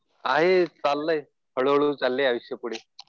आहे चाललंय. हळू हळू चाललंय आयुष्य पुढे.